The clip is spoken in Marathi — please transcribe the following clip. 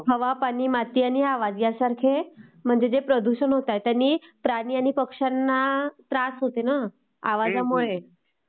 हवा, पाणी , माती आणि आवाज ह्यासारखे म्हणजे जे प्रदूषण होतायत यानी प्राणी आणि पक्षांना त्रास होते ना...आवाजामुळे